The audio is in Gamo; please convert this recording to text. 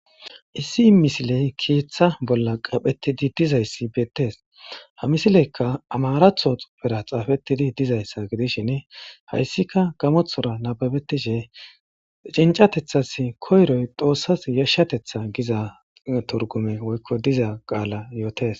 Issi misiley keeththa bolla qaaphetidi dizays beettes. Ha misileykka amaraththo xuufera xaafetidi dizayssa gidishin hayssikka gamoththora nabbabetishe cinccateththas koyroy xoossas yashshateththa giza turgumey woykko diza qaala yootes.